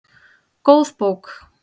Góð bók